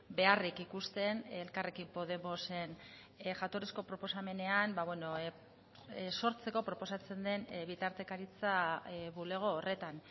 beharrik ikusten elkarrekin podemosen jatorrizko proposamenean sortzeko proposatzen den bitartekaritza bulego horretan